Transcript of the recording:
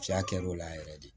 Fiyɛ kɛr'o la yɛrɛ de